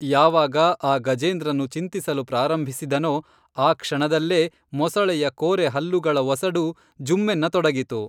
ಯಾವಾಗ ಆ ಗಜೇಂದ್ರನು ಚಿಂತಿಸಲು ಪ್ರಾರಂಭಿಸಿದನೋ ಆ ಕ್ಷಣದಲ್ಲೇ ಮೊಸಳೆಯ ಕೋರೆ ಹಲ್ಲುಗಳ ಒಸಡು ಜುಮ್ಮೆನ್ನ ತೊಡಗಿತು